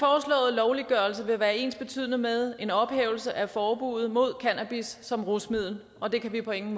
lovliggørelse vil være ensbetydende med en ophævelse af forbuddet mod cannabis som rusmiddel og det kan vi på ingen